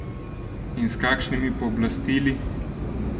In s kakšnimi pooblastili?